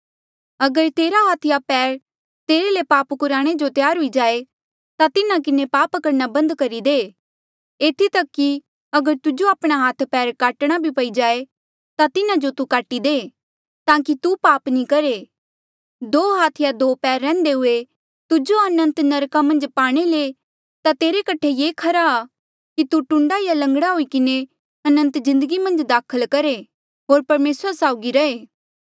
अगर तेरा हाथ या पैर तेरे ले पाप कुराणे जो त्यार हुई जाए ता तिन्हा किन्हें पाप करणा बंद करी दे एथी तक कि अगर तुजो आपणे हाथ पैर काटणे पई जाए ता तिन्हा जो तू काटी दे ताकि तू पाप नी करहे दो हाथ या दो पैर रैहन्दे हुए तूजो अनंत नरका मन्झ पाणे ले ता तेरे कठे ये खरा आ कि तू टूण्डा या लंगड़ा हुई किन्हें अनंत जिन्दगी मन्झ दाखल करहे होर परमेसरा साउगी रहे